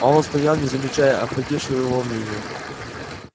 а он стоял не замечая охватившего его волнения